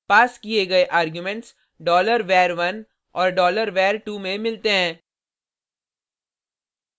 पास किये गए arguments $var1 और $var2 में मिलते हैं